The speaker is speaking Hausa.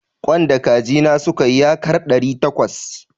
Ƙwan da kaji na suka yi yakar ɗari takwas.